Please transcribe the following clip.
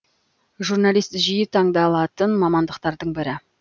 журналист жиі таңдалатын мамандықтардың бірі